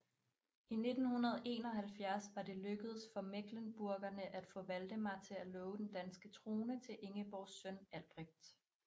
I 1371 var det lykkedes for mecklenburgerne at få Valdemar til at love den danske trone til Ingeborgs søn Albrecht